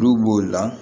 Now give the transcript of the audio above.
N'u b'o la